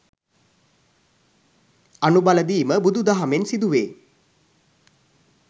අනු බලදීම බුදු දහමෙන් සිදුවේ.